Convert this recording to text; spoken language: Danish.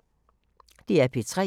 DR P3